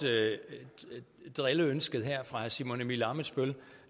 drilleønsket her fra herre simon emil ammitzbøll